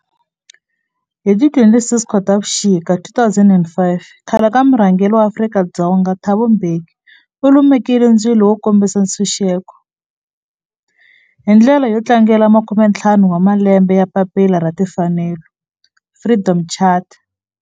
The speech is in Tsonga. Hi ti 26 Khotavuxika 2005 khale ka murhangeri wa Afrika-Dzonga Thabo Mbeki u lumekile ndzilo wo kombisa ntshuxeko, hi ndlela yo tlangela makumentlhanu wa malembe ya papila ra timfanelo Freedom Charter.